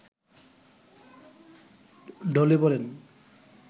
ঢলে পড়েন